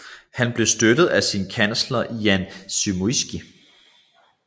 Han blev støttet af sin kansler Jan Zamoyski